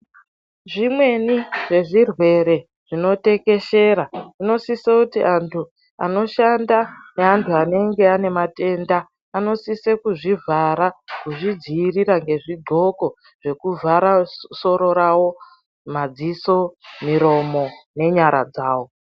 Zvimweni zvezvirwere zvinotekeshera zvinosisa kuti antu anoshanda ngeantu anonga aine matenda vanosise kuzvivhara nezvidloko kuzvivhara masoro mazisoro nyenyara dzavo .